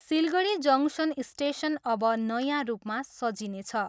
Siliguri junction station अब नयाँ रूपमा सजिनेछ।